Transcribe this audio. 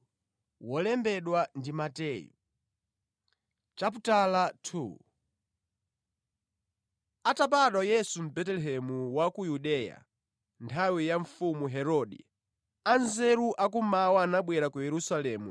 Atabadwa Yesu mʼBetelehemu wa ku Yudeya, mʼnthawi ya mfumu Herode, Anzeru a kummawa anabwera ku Yerusalemu